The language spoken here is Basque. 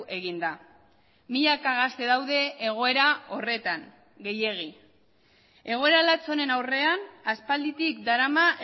egin da milaka gazte daude egoera horretan gehiegi egoera lats honen aurrean aspalditik darama